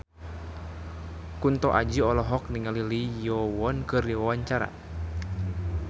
Kunto Aji olohok ningali Lee Yo Won keur diwawancara